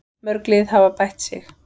Mörg lið hafa bætt sig.